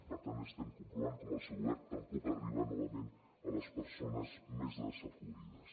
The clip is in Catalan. per tant estem comprovant com el seu govern tampoc arriba novament a les persones més desafavorides